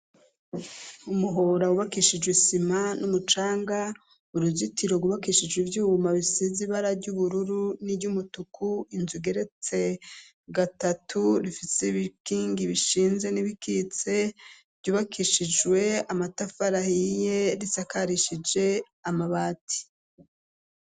Umuhora wubakishijwe isima n'umucanga uruzitiro rubakishijwe vyuma bisize ibara ry'ubururu n'iryo umutuku inzu geretse gatatu rifise ibikingi bishinze n'ibikitse vyubakishijwe amatafarahiye risakarishije amabati.